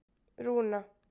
Rúna